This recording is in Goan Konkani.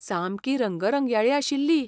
सामकी रंगरंगयाळी आशिल्ली.